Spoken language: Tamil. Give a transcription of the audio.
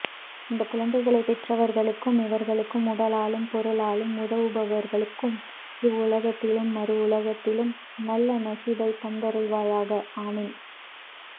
இந்த குழந்தைகளை பெற்றவர்களுக்கும் இவர்களுக்கு உடலாலும் பொருளாலும் உதவுபவர்களுக்கும் இவ்வுலகத்திலும் மருவுலகத்திலும் நல்ல நஷீபை தந்தருள்வாயாக ஆமீன்